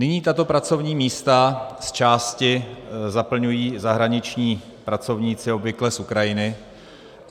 Nyní tato pracovní místa z části zaplňují zahraniční pracovníci, obvykle z Ukrajiny.